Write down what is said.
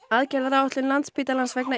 aðgerðaráætlun Landspítalans vegna